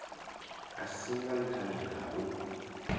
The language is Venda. a singa nṱhani ha u